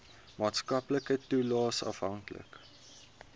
maatskaplike toelaes afhanklik